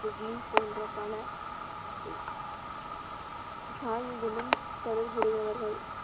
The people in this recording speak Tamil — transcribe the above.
சுக்மி போன்ற பல சாகிகளும் தொடர்புடையவர்கள்.